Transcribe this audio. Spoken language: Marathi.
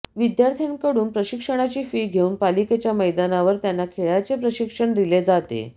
विद्यार्थ्यांकडून प्रशिक्षणाची फी घेऊन पालिकेच्या मैदानावर त्यांना खेळाचे प्रशिक्षण दिले जाते